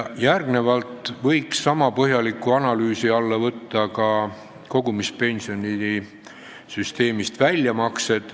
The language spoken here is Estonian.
Järgnevalt võiks niisama põhjaliku analüüsi alla võtta ka väljamaksed kogumispensionisüsteemist.